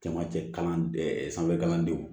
Camancɛ kalan sanfɛ kalandenw